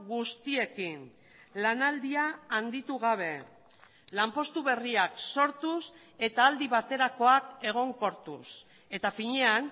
guztiekin lanaldia handitu gabe lanpostu berriak sortuz eta aldi baterakoak egonkortuz eta finean